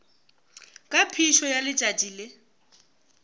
ka phišo ya letšatši le